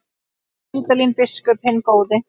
Geir Vídalín biskup hinn góði.